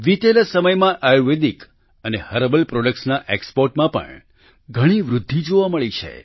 વિતેલા સમયમાં આયુર્વેદિક અને હર્બલ પ્રોડક્ટના exportમાં પણ ઘણી વૃદ્ધિ જોવા મળી છે